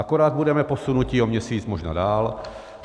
Akorát budeme posunuti o měsíc možná dál.